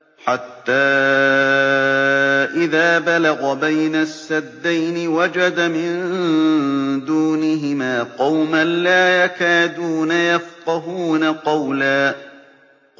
حَتَّىٰ إِذَا بَلَغَ بَيْنَ السَّدَّيْنِ وَجَدَ مِن دُونِهِمَا قَوْمًا لَّا يَكَادُونَ يَفْقَهُونَ قَوْلًا